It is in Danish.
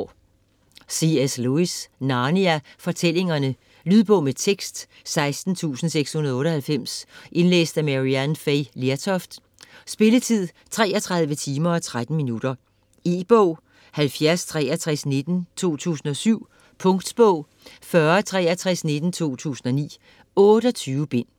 Lewis, C. S.: Narnia fortællingerne Lydbog med tekst 16698 Indlæst af Maryann Fay Lertoft Spilletid: 33 timer, 13 minutter. E-bog 706319 2007. Punktbog 406319 2009. 28 bind.